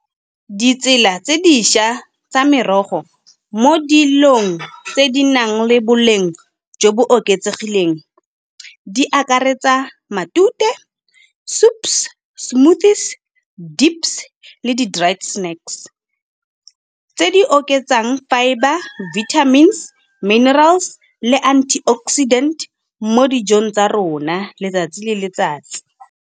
Ditsela tse dišwa tsa merogo mo dilong tse di nang le boleng jo bo oketsegileng, di akaretsa matute, soups, smoothies, dips le di dried snscks. Tse di oketsang fibre, vitamins, minerals le antioxidant mo dijong tsa rona letsatsi le letsatsi.